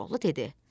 Koroğlu dedi: